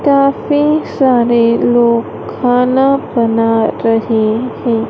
काफी सारे लोग खाना बना रहे हैं।